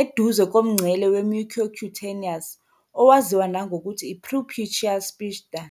eduze komngcele we-mucocutaneous, owaziwa nangokuthi i- "preputial sphincter."